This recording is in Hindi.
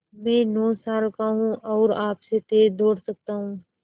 मैं नौ साल का हूँ और आपसे तेज़ दौड़ सकता हूँ